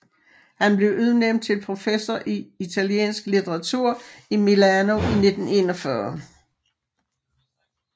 Han blev udnævnt til professor i italiensk litteratur i Milano i 1941